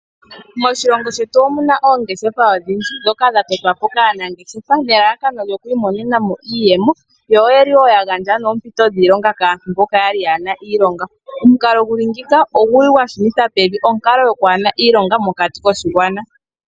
Moshilongo shetu omuna oongeshefa odhindji, ndhoka dha totwa po kaanangeshefa, nelalakano lyo ku imonenamo iiyemo, yo oyeli woo ya gandja noompito dhiilonga kaantu mboka yali yaana iilonga. Omukalo guli ngeyika, ogu li gwa shunitha pevi onkalo yo kwaana iilonga mokati koshigwana.